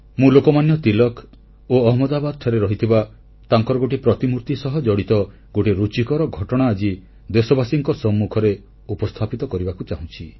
ମୁଁ ଲୋକମାନ୍ୟ ତିଳକ ଓ ଅହମଦାବାଦଠାରେ ରହିଥିବା ତାଙ୍କର ଗୋଟିଏ ପ୍ରତିମୂର୍ତି ସହ ଜଡ଼ିତ ଗୋଟିଏ ରୁଚିକର ଘଟଣା ଆଜି ଦେଶବାସୀଙ୍କ ସମ୍ମୁଖରେ ଉପସ୍ଥାପିତ କରିବାକୁ ଚାହୁଁଛି